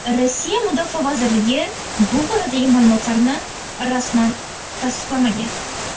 Rossiya mudofaa vazirligi bu boradagi ma’lumotlarni rasman tasdiqlamagan.